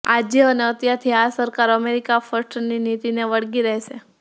આજે અને અત્યારથી આ સરકાર અમેરિકા ફર્સ્ટની નીતિને વળગી રહેશે